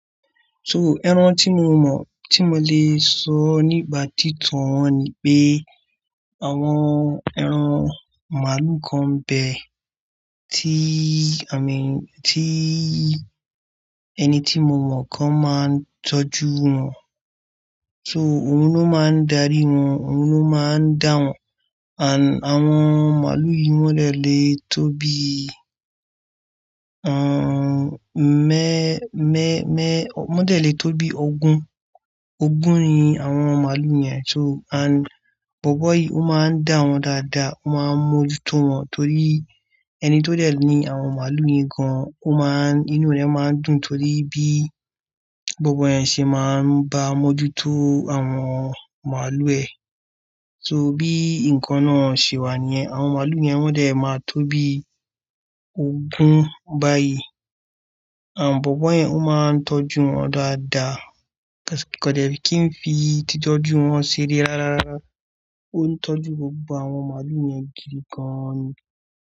So, ẹran tí mo mọ̀, tí mo lè sọ nípa títan wọn ni pé àwọn ẹran màlúù kan bẹ́ẹ̀ tí a lè, tí ẹni tí mo mọ̀ kan máa ń tọ́jú wọn. So òun ló máa ń darí wọn, òun ló máa ń dá wọn. And àwọn màlúù yìí wọ́n lè le tó bí, um, mẹ́, mẹ́, mẹ́, wọ́n lè le tó bí ogún. Ògún ni àwọn màlúù yẹn so and bọ̀bọ́ yìí ó máa ń dá wọn dáadáa, ó máa ń mójútó wọn torí ẹni tó dẹ̀ ní àwọn màlúù nìkan ó máà, inú rẹ máa ń dùn torí bí bọ̀bọ́ yẹn ṣe máa ń bá mójútó àwọn màlúù ẹ. So bí nǹkan náà ṣe wà níyẹn, àwọn màlúù yẹn wọ́n lè máa tó bí ogún báyìí. Àn bọ̀bọ́ yẹn ó máa ń tọ́jú wọn ọdọọ dáadáa, kò dẹ̀ kí n fi ìtìtọ́jú wọn ṣeré rárá, ó ń tọ́jú gbogbo àwọn màlúù yẹn jù gán-an ni.